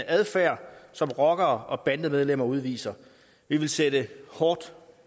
adfærd som rockere og bandemedlemmer udviser vi vil sætte hårdt